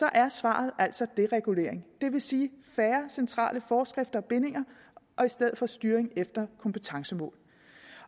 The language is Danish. er svaret deregulering det vil sige færre centrale forskrifter og bindinger og i stedet for styring efter kompetencemål